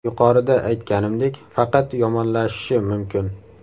Yuqorida aytganimdek, faqat yomonlashishi mumkin.